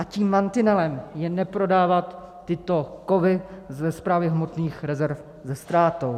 A tím mantinelem je neprodávat tyto kovy ze Správy hmotných rezerv se ztrátou.